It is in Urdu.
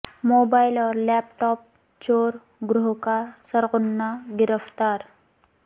موبائل اور لیپ ٹاپ چور گروہ کا سرغنہ گرفتار